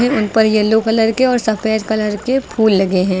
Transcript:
उन पर yellow colour के और सफेद कलर के फूल लगे हैं।